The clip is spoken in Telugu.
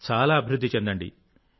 చాలా అభివృద్ధి చెందండి